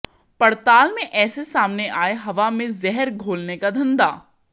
पड़ताल में ऐसे सामने आया हवा में जहर घोलने का धंधा